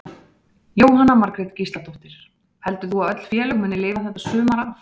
Jóhanna Margrét Gísladóttir: Heldur þú að öll félög muni lifa þetta sumar af?